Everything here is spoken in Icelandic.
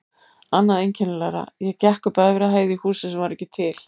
Annað einkennilegra: ég gekk upp á efri hæð í húsi sem var ekki til.